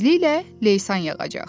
Tezliklə leysan yağacaq.